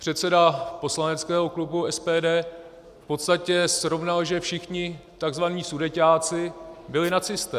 Předseda poslaneckého klubu SPD v podstatě srovnal, že všichni tzv. Sudeťáci byli nacisté.